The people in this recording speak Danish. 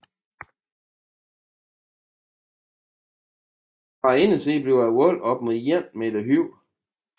Fra indersiden bliver volden op mod 1 meter høj